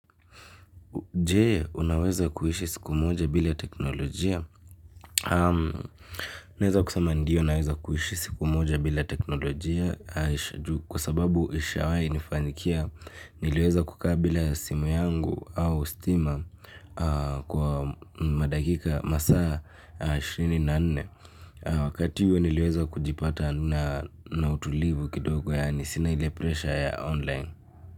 Je, unaweza kuishi siku moja bila teknolojia? Neweza kusama ndio naweza kuishi siku moja bila teknolojia kwa sababu ishawahi kunifanyikia niliweza kukaa bila simu yangu au stima kwa madakika masaa ishirini na nne. Wakati huu niliweza kujipata na utulivu kidogo yani sina ile pressure ya online.